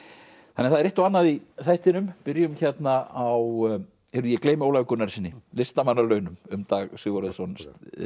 þannig að það er eitt og annað í þættinum byrjum hérna á ég gleymi Ólafi Gunnarssyni listamannalaunum um Dag Sigurðarson